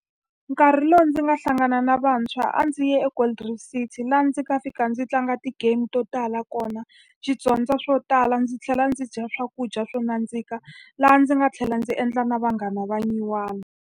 Nkarhi lowu ndzi nga hlangana na vantshwa a ndzi ye eGold Reef City, laha ndzi nga fika ndzi tlanga ti-game to tala kona, ndzi dyondza swo tala, ndzi tlhela ndzi dya swakudya swo nandzika. Laha ndzi nga tlhela ndzi endla na vanghana va nyuwana.